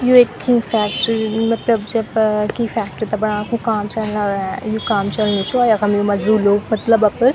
यु एक कि फैक्ट्री मतलब जब कीं फैक्ट्री ते बनाणा कु काम चलना यु काम चलणु च और यखम यु मजदूर लोग मतलब अपर --